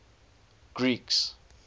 greeks